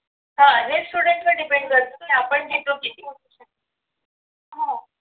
हा हे student वर depend करत की आपण घेतो किती